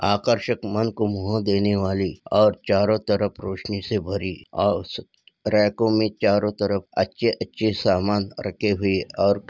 आकर्षक मन को मोह देने वाली आप चारों तरफ रौशनीसे भरी औररैकों में चारों तरफ अच्छे अच्छे से सामान और --